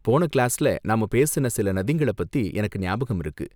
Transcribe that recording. போன கிளாஸ்ல நாம பேசுன சில நதிங்கள பத்தி எனக்கு ஞாபகம் இருக்கு.